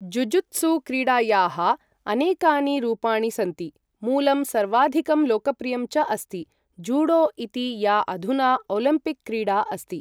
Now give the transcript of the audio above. Jujutsu क्रीडायाः अनेकानि रूपाणि सन्ति, मूलं सर्वाधिकं लोकप्रियं च अस्ति जूडो इति, या अधुना ओलिम्पिक् क्रीडा अस्ति।